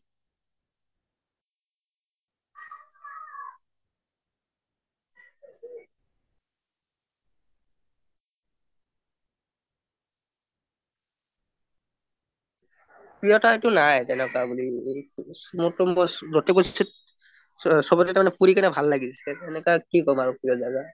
প্ৰিয় ঠাই টো নাই তেনেকুৱা বুলি চবতে তাৰ মানে ফুৰি কেনে ভাল লাগিছে হেনেকোৱা কি কম আৰু প্ৰিয় জা গা